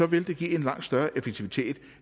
vil det give en langt større effektivitet